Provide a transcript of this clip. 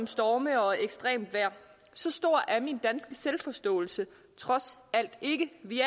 storme og ekstremt vejr så stor er min danske selvforståelse trods alt ikke vi